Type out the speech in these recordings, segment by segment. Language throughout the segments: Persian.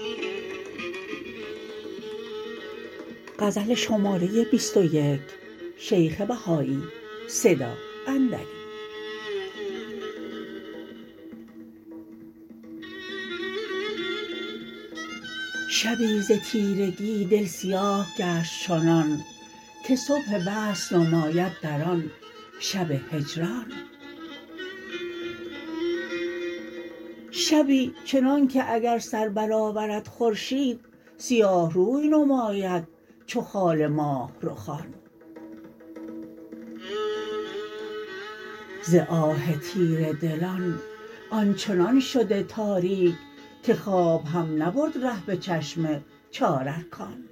شبی ز تیرگی دل سیاه گشت چنان که صبح وصل نماید در آن شب هجران شبی چنانکه اگر سر بر آورد خورشید سیاه روی نماید چو خال ماهرخان ز آه تیره دلان آنچنان شده تاریک که خواب هم نبرد ره به چشم چار ارکان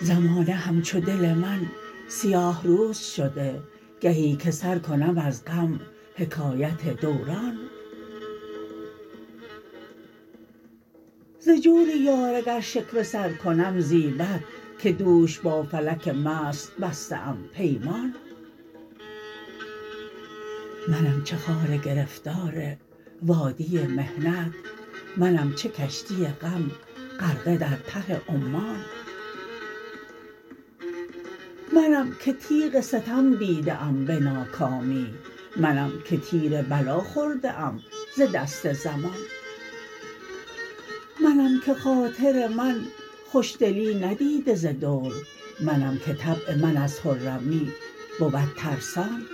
زمانه همچو دل من سیاه روز شده گهی که سر کنم از غم حکایت دوران ز جوریار اگر شکوه سرکنم زیبد که دوش با فلک مست بسته ام پیمان منم چه خار گرفتار وادی محنت منم چه کشتی غم غرقه در ته عمان منم که تیغ ستم دیده ام به ناکامی منم که تیر بلا خورده ام ز دست زمان منم که خاطر من خوش دلی ندیده زدور منم که طبع من از خرمی بود ترسان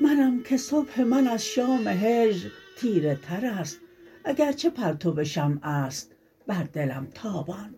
منم که صبح من از شام هجر تیره تر است اگر چه پرتو شمع است بر دلم تابان